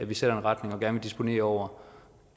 vi sætter en retning og gerne vil disponere over